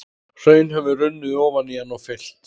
Hraun hefur runnið ofan í hann og fyllt.